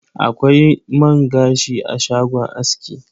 Akwai man gashi a shagon aski.